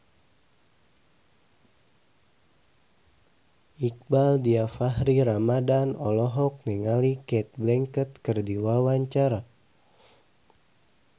Iqbaal Dhiafakhri Ramadhan olohok ningali Cate Blanchett keur diwawancara